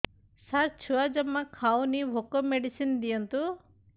ସାର ଛୁଆ ଜମା ଖାଉନି ଭୋକ ମେଡିସିନ ଦିଅନ୍ତୁ